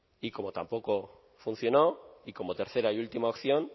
y como tampoco funcionó y como tercera y última opción